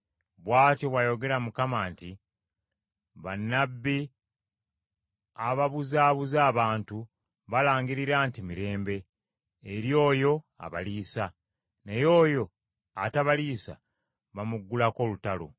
Bw’atyo bw’ayogera Mukama nti, “Bannabbi ababuzaabuza abantu balangirira nti, ‘Mirembe,’ eri oyo abaliisa, naye oyo atabaliisa bamuggulako olutalo.